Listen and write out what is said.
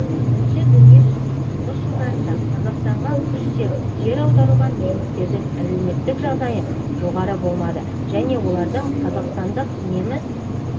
бірінші дүниежүзілік соғыс жылдарында қазақстанға күштеп жер аударылған немістердің әлеуметтік жағдайы жоғары болмады және олардың қазақстандық неміс